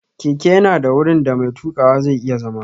Keke ya na da wurin da mai tuƙawa zai iya zama